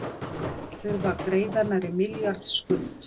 Þurfa að greiða nærri milljarðs skuld